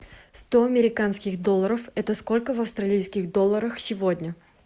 сто американских долларов это сколько в австралийских долларах